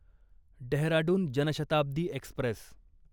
Dehradun Janshatabdi Express